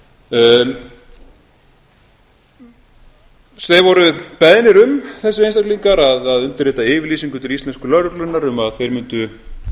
falun gong þeir voru beðnir um þessir einstaklingar að undirrita yfirlýsingu til íslensku lögreglunnar um að þeir mundu